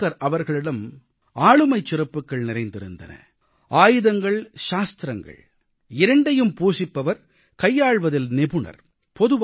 சாவர்க்கார் அவர்களிடம் ஆளுமைச் சிறப்புகள் நிறைந்திருந்தன ஆயுதங்கள்சாஸ்திரங்கள் இரண்டையும் பூண்பவர் கையாள்வதில் நிபுணர்